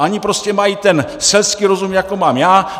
Oni prostě mají ten selský rozum jako mám já.